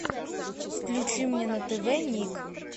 включи мне на тв ник